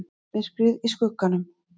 MYRKRIÐ Í SKUGGANUM